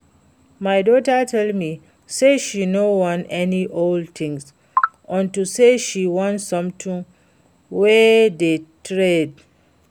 My daughter tell me say she no wan any old thing unto say she want something wey dey trend